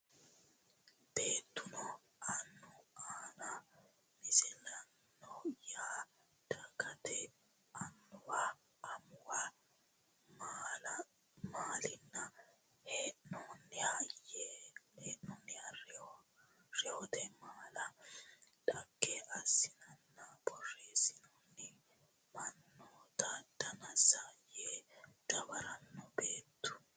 Beettuno annu aana Misilaano yaa dhaggete annuwa amuwa mallanni hee noonniha reyote mala dhagge aanansa borreessinoonni mannoota Dansa yee dawaranno Beettuno.